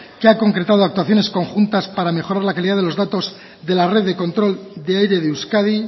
que ha concretado actuaciones conjuntas para mejorar la calidad de los datos de la red de control de aire de euskadi